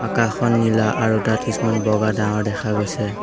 আকাশখন নীলা আৰু তাত কিছুমান বগা ডাৱৰ দেখা গৈছে।